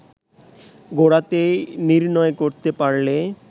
গোড়াতেই নির্ণয় করতে পারলে